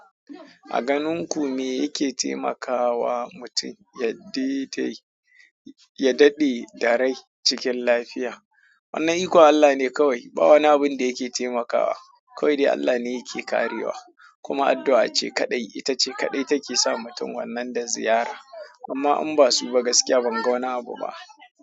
A ganinku me yake temaka wa mutin ya dede yadaɗe da rai cikin lafiya. Wannan ikon Allah ne kawai. Ba wani abun da yake taimakawa. Kawai dai Allah ne yake tafiya karewa. Kuma addu'a ce kaɗai, ita ce kaɗai take sa mutum wannan da ziyara. Amma in ba su ba gaskiya ban ga wani abu ba.